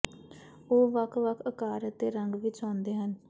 ਉਹ ਵੱਖ ਵੱਖ ਅਕਾਰ ਅਤੇ ਰੰਗ ਵਿੱਚ ਆਉਂਦੇ ਹਨ